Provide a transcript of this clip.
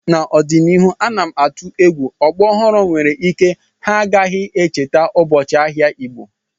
N'ọdịnihu ana m atụ egwu ọgbọ ọhụrụ nwere ike ha agaghị echeta ụbọchị ahịa Igbo